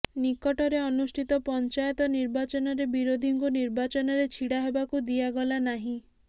ନିକଟରେ ଅନୁଷ୍ଠିତ ପଞ୍ଚାୟତ ନିର୍ବାଚନରେ ବିରୋଧୀଙ୍କୁ ନିର୍ବାଚନରେ ଛିଡ଼ା ହେବାକୁ ଦିଆଗଲା ନାହିଁ